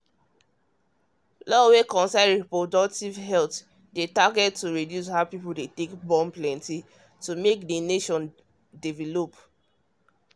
law wey concern reproductive health dey target to reduce how people dey plentyas plan um to make the nation develop um